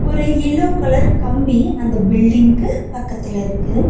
ஒரு yellow colour கம்பி அந்த பில்டிங்க்கு பக்கத்துல இருக்கு.